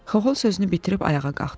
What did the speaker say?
Xaxol sözünü bitirib ayağa qalxdı.